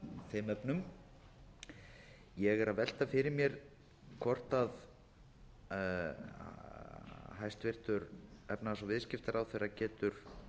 þeim efnum ég er að velta fyrir mér hvort hæstvirtur efnahags og viðskiptaráðherra getur